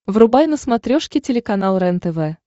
врубай на смотрешке телеканал рентв